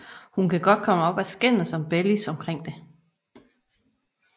Hun kan godt komme op at skændes med Bellis omkring det